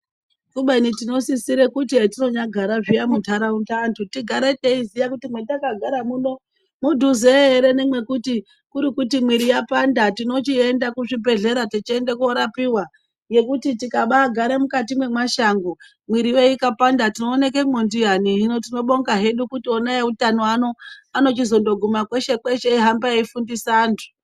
Kubeni tinosisire kuti etinyanogara zviya munharaunda anhu tigare teiziya kuti mwatakagara muno mudhuze ere nemwekuti, kurikuti mwiri yapanda tinochienda kuzvibhehlera techiende korapiwa ngekuti tikaba agare mukati mwemashango mwiri yo ikapanda tinooneke mwo ndiayani ,hino tinobonga hedu kuti ona eutano uno anochindozoguma kweshe kweshe eifundisa antu.